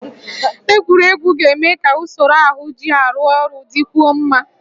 Egwuregwu ga-eme ka usoro ahụ ji arụ ọrụ dịkwuo mma